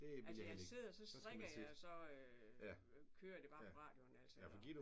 Altså jeg sidder så strikker jeg og så kører det bare på radioen altså og